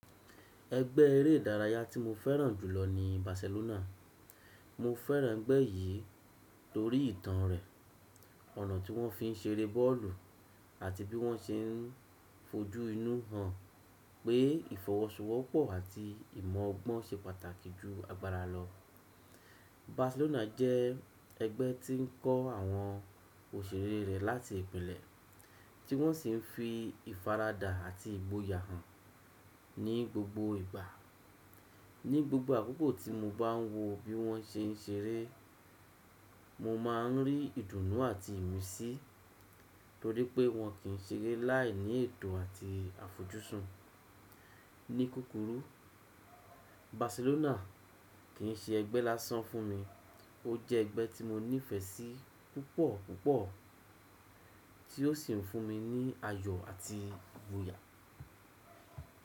Ẹgbẹ́ eré ìdárayá tí mo fẹ́ràn jùlọ ni Barcelona. Mo fẹ́ràn ẹgbẹ́ yìí torí ìtàn rẹ̀, ọ̀nà tí wọ́n fi ń ṣeré bọ́ọ̀lù àti bí wọ́n ṣe ń fojú inú hàn pé ìfọwọ́sowọ́pọ̀ àti ìmọ̀ ọgbọ́n ṣe pàtàkì jù agbára lọ. Barcelona jẹ́ ẹgbẹ́ tí ń kọ́ àwọn òṣèré rẹ̀ láti ìpínlẹ̀, tí wọ́n sì ń fi ìfaradà àti ìgboyà hàn ní gbogbo ìgbà. Ní gbogbo àkókò tí mo bá ń wo bí wọ́n ṣe ń ṣeré, mo máa ń rí ìdùnnú àti ìmísí torí pé wọn kì í ṣeré láìní ètò àti àfojúsùn. Ní kukuru, Barcelona kì í ṣe ẹgbẹ́ lásán fún mi, ó jẹ́ ẹgbẹ́ tí mo nífẹ̀ẹ́ sí púpọ̀ púpọ̀ tí ó sì ń fún mi ní ayọ̀ àti ìgboyà.